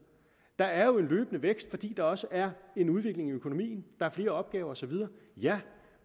der er jo en løbende vækst fordi der også er en udvikling i økonomien der er flere opgaver og så videre ja